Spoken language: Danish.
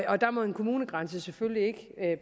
og der må en kommunegrænse selvfølgelig ikke